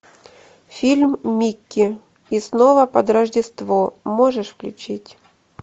фильм микки и снова под рождество можешь включить